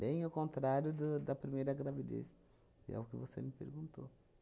Bem ao contrário do da primeira gravidez, que é o que você me perguntou.